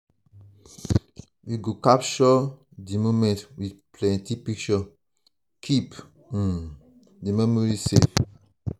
we go capture um di moments with plenty um pictures keep um di memories safe.